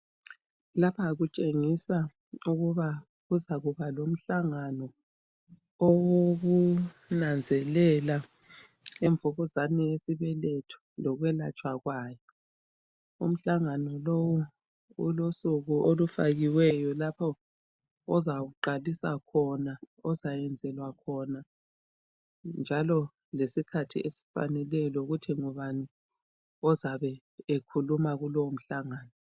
Lapha kutshengisa ukuba kuzakuba lomhlangano owokunanzelela imvukuzane yesibeletho lokwelatshwa kwayo, umhlangano lowu ulosoko olufakiweyo lapho ozawuqalisa khona ozayenzelwa khona njalo lesikhathi esifaneleyo lokuthi ngubani ozabe ekhuluma kulowo mhlangano.